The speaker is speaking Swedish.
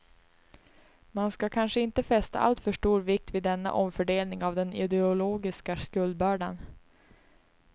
Man ska kanske inte fästa alltför stor vikt vid denna omfördelning av den ideologiska skuldbördan.